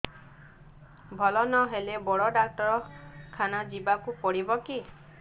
ଭଲ ନହେଲେ ବଡ ଡାକ୍ତର ଖାନା ଯିବା କୁ ପଡିବକି